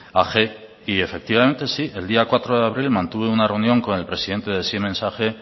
ag y efectivamente sí el día cuatro de abril mantuve una reunión con el presidente de siemens ag